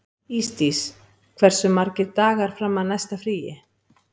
Ísdís, hversu margir dagar fram að næsta fríi?